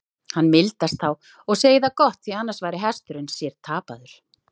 Hann mildast þá og segir það gott, því annars væri hesturinn sér tapaður.